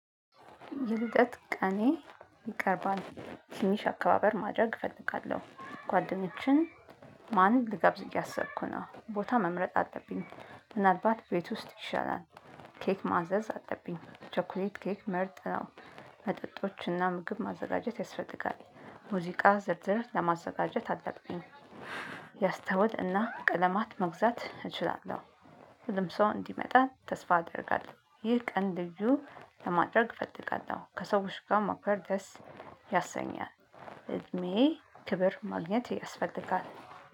የልደት ቀኔ ይቀርባል ትንሽ አካባበር ማድረግ እፈልጋለሁ ጓደኞችን ማንም ልጋብዝ ያሰብኩ ነው ቦታ መምረጥ አለብኝ። ምናልባት ቤት ውስጥ ይሻላል። ኬክ ማዘዝ አለብኝ ቸኰሌት ኬክ መርጥ ነው። መጠጦችና ምግብ ማዘጋጀት ያስፈልጋል። ሙዚቃ ዝርዝር ለማዘጋጀት ታላቅ ነኝ። ያስተውል እና ቀለማት መግዛት እችላለሁ። ሁሉም ሰው እንዲመጣ ተስፋ አደርጋለሁ። ይህ ቀን ልዩ ለማድረግ እፈልጋለሁ ከሰዎች ጋር ማክበር ደስ ያሰኛል። እድሜ ክብር ማግኘት ያስፈልጋል።